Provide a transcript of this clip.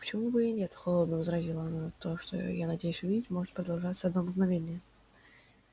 а почему бы и нет холодно возразила она то что я надеюсь увидеть может продолжаться одно мгновение